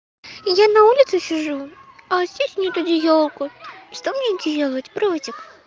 и я на улице сижу а здесь нет одеялка что мне делать братик